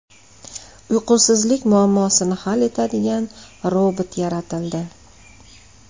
Uyqusizlik muammosini hal etadigan robot yaratildi.